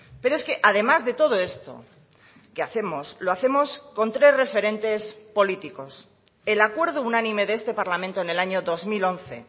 pero es que además de todo esto que hacemos lo hacemos con tres referentes políticos el acuerdo unánime de este parlamento en el año dos mil once